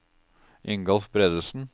Ingolf Bredesen